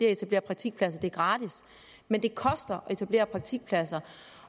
at etablere praktikpladser er gratis men det koster at etablere praktikpladser